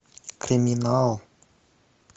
криминал